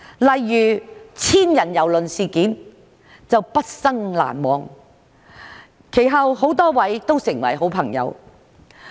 例如千人郵輪事件就是畢生難忘的，其後很多位都成為了好朋友。